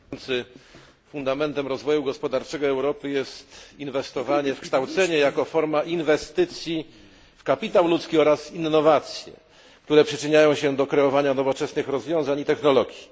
Panie przewodniczący! Fundamentem rozwoju gospodarczego Europy jest inwestowanie w kształcenie jako forma inwestycji w kapitał ludzki oraz innowacje, które przyczyniają się do kreowania nowoczesnych rozwiązań i technologii.